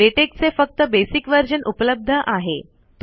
LaTeX चे फक्त basic version उपलब्ध आहे